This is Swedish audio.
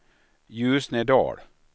Ljusnedal